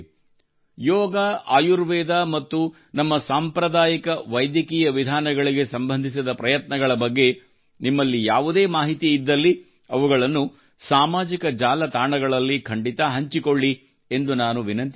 ಯೋಗ ಆಯುರ್ವೇದ ಮತ್ತು ನಮ್ಮ ಸಾಂಪ್ರದಾಯಿಕ ವೈದ್ಯಕೀಯ ವಿಧಾನಗಳಿಗೆ ಸಂಬಂಧಿಸಿದ ಪ್ರಯತ್ನಗಳ ಬಗ್ಗೆ ನಿಮ್ಮಲ್ಲಿ ಯಾವುದೇ ಮಾಹಿತಿ ಇದ್ದಲ್ಲಿ ಅವುಗಳನ್ನು ಸಾಮಾಜಿಕ ಜಾಲತಾಣಗಳಲ್ಲಿ ಖಂಡಿತ ಹಂಚಿಕೊಳ್ಳಿ ಎಂದು ನಾನು ವಿನಂತಿಸುತ್ತೇನೆ